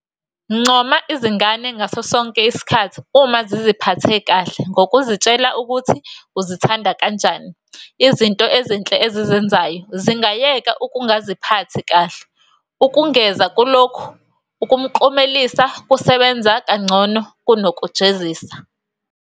Ncoma izingane ngaso sonke isikhathi uma ziziphathe kahle ngokuzitshela ukuthi uzithanda kanjani izinto ezinhle ezizenzayo, zingayeka ukungaziphathi kahle. Ukengeza kulokho, ukuklomelisa kusebenza kangcono kunokujezisa.